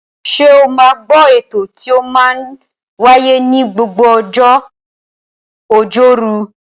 Ṣe o máa ń gbọ́ ètò tí ó máa ń wáyé ní gbogbo ọjọ́ Ọjọ́rú?